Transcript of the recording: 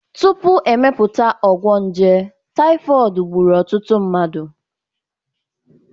Tupu emepụta ọgwụ nje, typhoid gburu ọtụtụ mmadụ